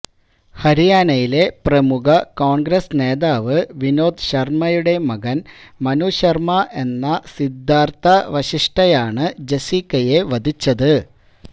ഹരിയാനയിലെ പ്രമുഖ കോണ്ഗ്രസ് നേതാവ് വിനോദ് ശര്മയുടെ മകന് മനുശര്മ എന്ന സിദ്ധാര്ത്ഥ വശിഷ്ഠയാണ് ജസീക്കയെ വധിച്ചത്